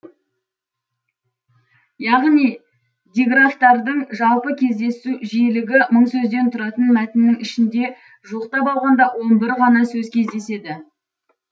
яғни диграфтардың жалпы кездесу жиілігі мың сөзден тұратын мәтіннің ішінде жуықтап алғанда оң бір ғана сөз кездеседі